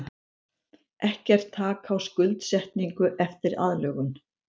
Ekkert þak á skuldsetningu eftir aðlögun